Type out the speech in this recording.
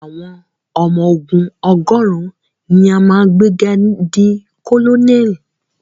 Àwọn ọmọ ogún ọgọ́rùn ni a máa gbé ga di colonel.